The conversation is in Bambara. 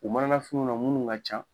U manafiniw na minnu ka ca